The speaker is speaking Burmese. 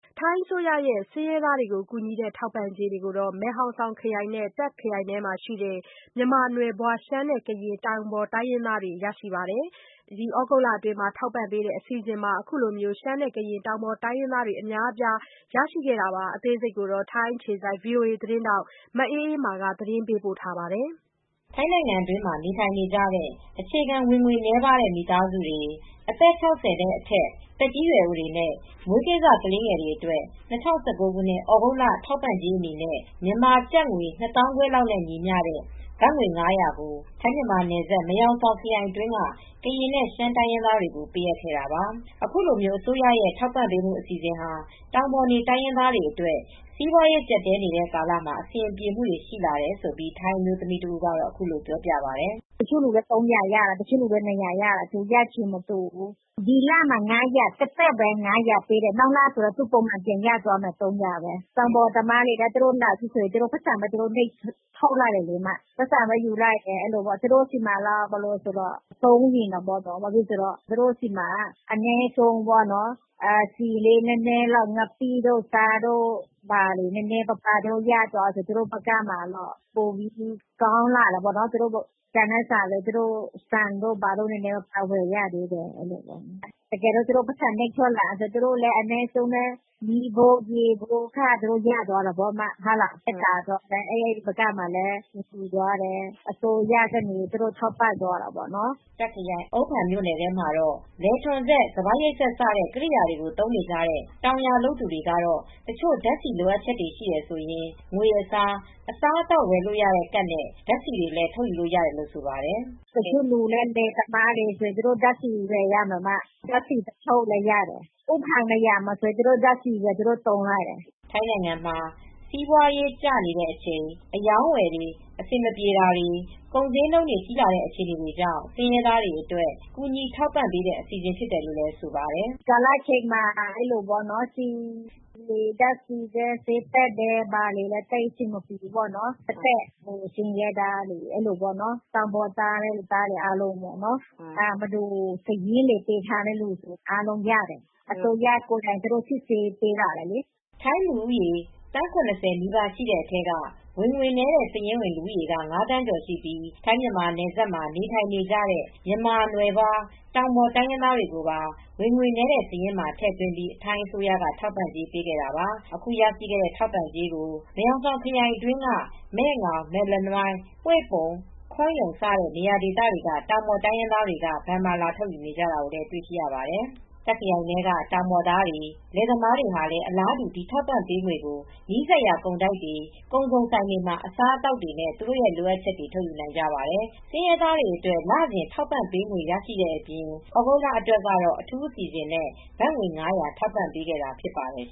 ထိုင်းအစိုးရရဲ့ ဆင်းရဲသား ကူညီတဲ့ ထောက်ပံ့ကြေးတွေကို မယ်ဟောင်ဆောင်ခရိုင်နဲ့ တာ့ခရိုင်ထဲကမြန်မာနွယ်ဖွားရှမ်းနဲ့ကရင် တောင်ပေါ်တိုင်းရင်းသားများ ပါရရှိပါတယ်။ သြဂုတ်လအတွင်း ထောက်ပံ့ပေးတဲ့အစီစဉ်မှာ ရှမ်းနဲ့ ကရင်တောင်ပေါ်တိုင်းရင်းသားတွေအများအပြားပါဝင်လာပါတယ်။ ထိုင်းအခြေစိုက် VOA သတင်းထောက် မအေးအေးမာက သတင်းပေးပို့ ထားပါတယ်။ ထိုင်းနိုင်ငံ အတွင်းမှာ နေထိုင်ကြတဲ့ အခြေခံဝင်ငွေနည်းတဲ့ မိသားစုတွေ၊ အသက် ၆၀ အထက် သက်ကြီးရွယ်အိုတွေနဲ့ မွေးကင်းစကလေးငယ်တွေ အတွက် ၂၀၁၉ သြဂုတ်လ ထောက်ပံ့ကြေး အနေနဲ့ တဦးကို ( မြန်မာငွေ နှစ်သောင်းခွဲ ၊ )လောက်နဲ့ ညီမျတဲ့ ဘတ်ငွေ ၅၀၀ကို ထိုင်းမြန်မာနယ်စပ် မဲဟောင်ဆောင် ခရိုင်အတွင်းက ကရင်နဲ့ ရှမ်း တိုင်းရင်းသားတွေကိုပါ ပေးအပ်ခဲ့တာပါ။ အခုလိုအစိုးရရဲ့ထောက်ပံ့ပေးမူ အစီစဉ်ဟာ တောင်ပေါ်နေတိုင်ရင်းသားတွေအတွက် စီပွားရေးကြပ်တည်းနေတဲ့ ကာလမှာအဆင်ပြေမူတွေရှိတယ်လို့ ထိုင်းအမျိုးသမီးက အခုလိုပြောပြပါတယ်။ “တချို့လူတွေက ၂၀၀ရတယ် တချိုကတော့၃၀၀ရတယ် ရတာမတူဘူး။ ဒီလအတွက် ကတော့ သပ်သပ် ၅၀၀ထောက်ပံ့ပေးပါတယ် နောက်လပုံမှန် ၃၀၀ ရသွားမယ်။ တောင်ပေါ်သားတွေလည်းလာထုတ်တော့ သူတို့က ပိုက်ဆံသပ်သပ်ပဲ လာထုတ်တယ်။ သူတို့အတွက်ဆီလေး၊ဆားလေး၊ ငပိလေးရသွားတော့တော်သေးတယ်။ သူတို့ဘက်မှာ ကောင်းလာတာပေါ့ဆန်လေးပါဝယ်လို့ရသွားတာပေါ့ သူတို့ပိုက်ဆံထုတ်တော့ သူတို့မီးဖိုးလေး ၊ ရေဖိုးလေး ရသွားတော့တော်သေးတယ်။ အဲဒီဘက်မှာအဆင်ပြေသွားတယ် သူတို့ကိုအစိုးရက ထောက်ပံ့ပေးတာပေါ့။” တာခရိုင်အုန်းဖန်မြို့နယ်ထဲမှာတော့ လယ်ထွန်စက်၊ စပါးရိတ်စက်စတဲ့ ကိရိယာတွေကိုသုံးကြတဲ့ တောင်ယာလုပ်သူတွေ ကတော့ တချို့ဓါတ်ဆီ လိုအပ်ချက်ရှိတယ်ဆိုရင်ငွေအစား အစားအသောက်ဝယ်လို့ရတဲ့ ကဒ်နဲ့ ဓါတ်ဆီတွေလည်းထုတ်ယူလို့ ရပါတယ်။ “တချို့လယ်သမားတွေက ဓါတ်ဆီဝယ်ရတယ်။ ဓါတ်ဆီ သွားထုတ်လည်းရတယ်အုန်းဖန်ဘက်မှာဆိုရင်သူတို့ဓါတ်ဆီသွားထုတ်ကြတယ်။” ထိုင်းနိုင်ငံမှာ စီးပွားရေးကျတာတွေဖြစ်ပြီး အရောင်းအဝယ်တွေ အဆင်မပြေတာတွေ ကုန်ဈေးနှုန်း ကြီးလာတဲ့ အခြေအနေတွေကြောင့် ဆင်းရဲသားတွေ အတွက် ကူညီထောက်ပံ့ပေးတဲ့အစီစဉ်ဖြစ်တယ်လို့ ဆိုပါတယ်။ “ဒီကာလမှာဆီတွေ ဓါတ်ဆီတွေဈေးတက်တယ်။ အဆင်မပြေကြဘူး သက်သက်ဆင်းရဲသားတွေ၊ တောင်ပေါ်သားတွေ စာရင်းပေးထားတဲ့သူတွေ အားလုံးရတယ်။ အစိုးရကသူတို့ စိစစ်ဆေးပြီးပေးလာတယ်လေ။” ထိုင်းလူဦးရေ သန်း၇၀ နီပါး ရှိတဲ့အထဲက ဝင်ငွေနည်းတဲ့ စာရင်းဝင် လူဦးရေက၅ သန်းကျော်ရှိပြီး ထိုင်း-မြန်မာနယ်စပ်မှာ နေထိုင်နေကြတဲ့ မြန်မာနွယ်ဖွား တောင်ပေါ်တိုင်းရင်းသားတွေကိုပါ ဝင်ငွေနည်း စာရင်းမှာ ထည့်သွင်းပြီး ထိုင်းအစိုးရက ထောက်ပံ့ကြေး ပေးခဲ့တာပါ။ အခုရရှိတဲ့ ထောက်ပံ့ကြေးကို မဲဟောင်ဆောင်ခရိုင်အတွင်းက မဲငေါင်-မဲလနွိုင်း-ဟွေ့ပုန်-ခွန်ယုန် စတဲ့ နေရာဒေသတွေက နေ တောင်ပေါ်တိုင်းရင်းသားတွေကဘဏ်မှာ လာထုတ်ယူတာတွေ့ရပါတယ်။ တာ့ခရိုင်ထဲက တောင်ပေါ်သားတွေလယ်သမားတွေလည်း အလားတူ ဒီထောက်ပံ့ပေးငွေကို နီးစပ်ရာကုန်တိုက်တွေ ကုန်စုံဆိုင်တွေမှာအစားအသောက်နဲ့ သူတိုလိုအပ်ချက်တွေ ထုတ်ယူနိုင်ပါတယ်။ ဆင်းရဲသားတွေအတွက် လစဉ်ထောက်ပံ့ပေးငွေ ရရှိတဲ့အပြင် သြဂုတ်လအတွက်ကတော့ အထူးအစီစဉ်နဲ့ ဘတ်ငွေ ၅၀၀ ထောက်ပံ့ပေးတာဖြစ်ပါတယ်